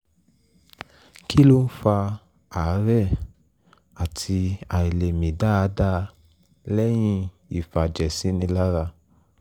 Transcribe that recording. kí ló ń fa àárẹ̀ àti àìlè mí dáadáa lẹ́yìn ìfàjẹ̀sínilára?